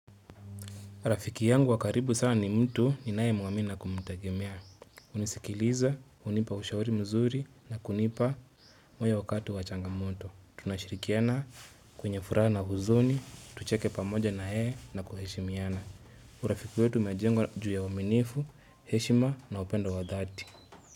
Rafiki yangu wakaribu sana ni mtu ni naye mwamini na kumtegemea. Unisikiliza, hunipa ushauri mzuri na kunipa moyo wakati wa changamoto. Tunashirikiana kwenye furaha na huzuni, tucheke pamoja na yeye na kuheshimiana. Urafiki wetu unajengwa juu ya uaminifu, heshima na upendo wa dhati.